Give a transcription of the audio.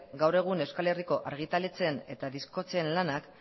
gaur egun euskal herriko argitaletxeen eta diskoetxeen lanak